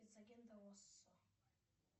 спец агента оссо